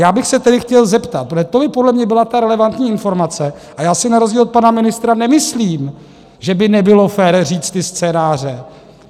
Já bych se tedy chtěl zeptat, protože to by podle mě byla ta relevantní informace - a já si na rozdíl od pana ministra nemyslím, že by nebylo fér říct ty scénáře.